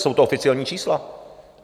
Jsou to oficiální čísla.